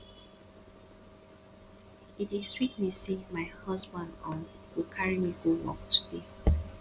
e dey sweet me say my husband um go carry me go work today